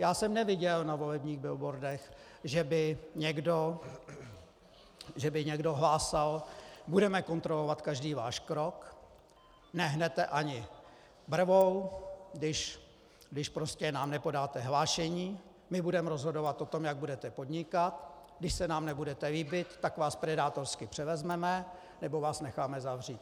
Já jsem neviděl na volebních billboardech, že by někdo hlásal: Budeme kontrolovat každý váš krok, nehnete ani brvou, když prostě nám nepodáte hlášení, my budeme rozhodovat o tom, jak budete podnikat, když se nám nebudete líbit, tak vás predátorsky převezmeme nebo vás necháme zavřít.